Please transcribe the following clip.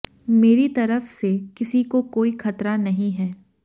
मेरी तरफ से किसी को कोई खतरा नहीं है